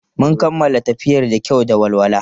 Mun kammala tafiyar da kyau da walwala.